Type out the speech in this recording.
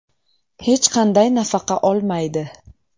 Hech qanday nafaqa olmaydi.